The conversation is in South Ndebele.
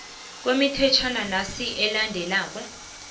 kwemithetjhwana nasi elandelako